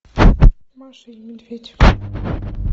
маша и медведь